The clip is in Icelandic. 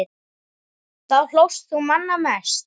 Þá hlóst þú manna mest.